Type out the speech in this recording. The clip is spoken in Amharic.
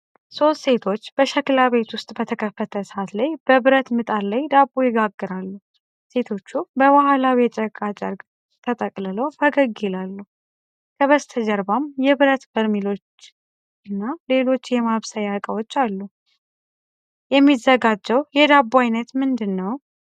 ሦስት ሴቶች በሸክላ ቤት ውስጥ በተከፈተ እሳት ላይ በብረት ምጣድ ላይ ዳቦ ይጋግራሉ። ሴቶቹ በባህላዊ የጨርቃ ጨርቅ ተጠቅልለው ፈገግ ይላሉ። ከበስተጀርባም የብረት በርሜልና ሌሎች የማብሰያ እቃዎች አሉ። የሚዘጋጀው የዳቦ ዓይነት ምንድን ነው?